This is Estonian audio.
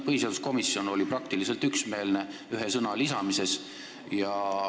Põhiseaduskomisjon oli praktiliselt üksmeelne selle ühe sõna lisamisel.